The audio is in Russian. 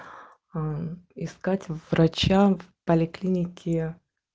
искать врача в поликлинике